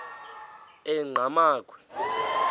enqgamakhwe